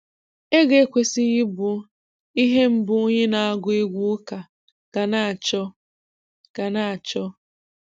Ego ekwesịghị ịbụ ihe mbụ onye na-agụ egwu ụka ga na-achọ ga na-achọ